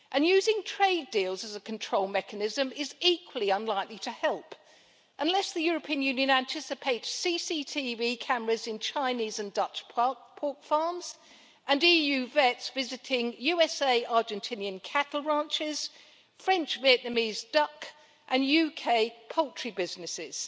Using trade deals as a control mechanism is equally unlikely to help, unless the European Union anticipates CCTV cameras in Chinese and Dutch pork farms and EU vets visiting USA-Argentinian cattle ranches, French-Vietnamese duck and UK poultry businesses.